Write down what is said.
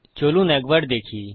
চলুন একবার দেখি